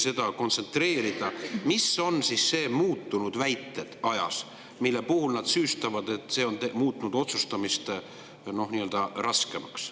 Püüdke kontsentreerida, mis on siis need ajas "muutunud väited", mille tõttu nad süüstavad, et see on muutnud otsustamist raskemaks.